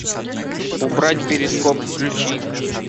убрать перископ включи